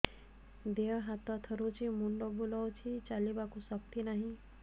ଦେହ ହାତ ଥରୁଛି ମୁଣ୍ଡ ବୁଲଉଛି ଚାଲିବାକୁ ଶକ୍ତି ନାହିଁ